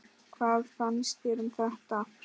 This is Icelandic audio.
Hvað fannst þér um það?